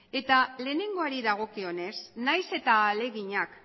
eta lehenengoari dagokionez nahiz eta ahaleginak